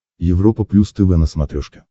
европа плюс тв на смотрешке